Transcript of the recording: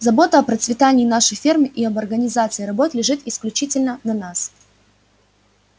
забота о процветании нашей фермы и об организации работ лежит исключительно на нас